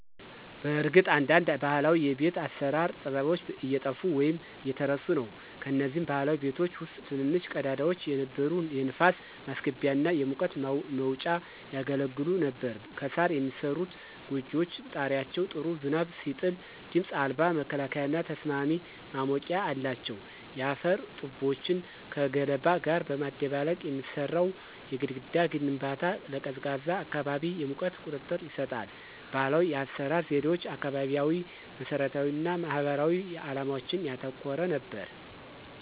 በእርግጥ አንዳንድ ባህላዊ የቤት አሰራር ጥበቦች እየጠፉ ወይም እየተረሱ ነው። ከነዚህም ባህላዊ ቤቶች ውስጥ ትንንሽ ቀዳዳዎች የነበሩ የንፋስ ማስገቢያ እና የሙቀት መውጫ ያገለግሉ ነበር። ከሣር የሚሠሩት ጎጆዎች ጣሪያዎች ጥሩ ዝናብ ሲጥል ድምፅ አልባ መከላከያና ተስማሚ ማሞቂያ አላቸው። የአፈር ጡቦችን ከገለባ ጋር በማደባለቅ የሚሠራው የግድግዳ ግንባታ ለቀዝቃዛ አካባቢ የሙቀት ቁጥጥር ይሰጣል። ባህላዊ የአሰራር ዘዴዎች አካባቢያዊ መሰረታዊነት እና ማህበራዊ ዓላማዎችን ያተኮረ ነበር።